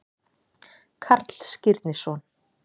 Karl Skírnisson.